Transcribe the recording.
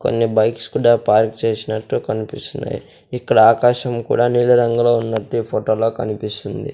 కొన్ని బైక్స్ కూడా పార్క్ చేసినట్టు కనిపిస్తున్నాయి ఇక్కడ ఆకాశం కూడా నీలిరంగులో ఉన్నట్టు ఈ ఫోటోలో కనిపిస్తుంది.